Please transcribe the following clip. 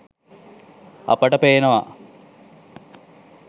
අපට පේනවා